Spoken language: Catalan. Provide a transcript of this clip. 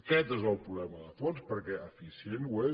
aquest és el problema de fons perquè eficient ho és